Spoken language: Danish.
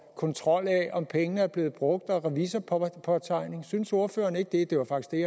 kontrol af om pengene er blevet brugt og revisorpåtegning synes ordføreren ikke det det var faktisk det